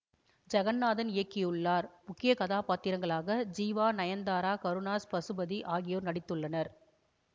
ஜகந்நாதன் இயக்கியுள்ளார் முக்கிய காதாபாத்திரங்களாக ஜீவா நயந்தாரா கருணாஸ் பசுபதி ஆகியோர் நடித்துள்ளனர்